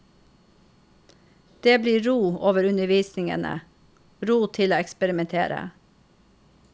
Det blir ro over undervisningen, ro til å eksperimentere.